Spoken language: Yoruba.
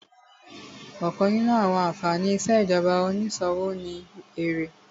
Ọ̀kan nínú àwọn ànfàní ìṣèjọba onísòwò ni èrè